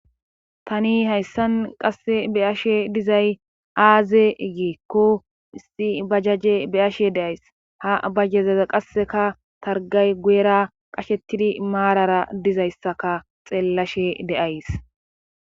tani hayssan qasse be ashe dizay aaze giikko issi bajjajje beyashe deays ha bajyezeza qasseka targay guera qashettidi maarara dizayssaka xeellashe deays